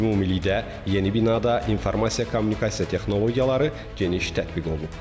Ümumilikdə, yeni binada informasiya kommunikasiya texnologiyaları geniş tətbiq olunub.